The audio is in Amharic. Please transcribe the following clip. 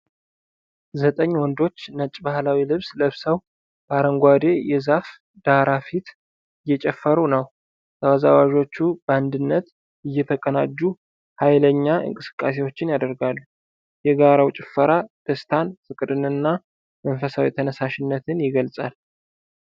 ዘጠኝ ወንዶች ነጭ ባህላዊ ልብስ ለብሰው በአረንጓዴ የዛፍ ዳራ ፊት እየጨፈሩ ነው ። ተወዛዋዦቹ በአንድነት እየተቀናጁ ኃይለኛ እንቅስቃሴዎችን ያደርጋሉ። የጋራው ጭፈራ ደስታን፣ ፍቅርን እና መንፈሳዊ ተነሳሽነትን ይገልፃል።